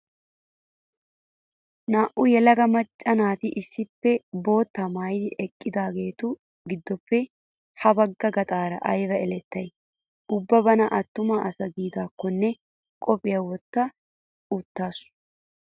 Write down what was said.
Naa''u yelaga macca naatu issippe boottaa maayidi eqqidaagetu giddoppe ha bagga bgaxaara ayiba elettayi! Ubba bana attuma asa giidaakkonne qophiyaa wotta uttaasu.